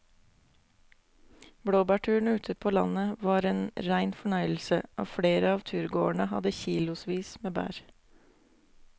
Blåbærturen ute på landet var en rein fornøyelse og flere av turgåerene hadde kilosvis med bær.